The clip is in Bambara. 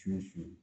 Su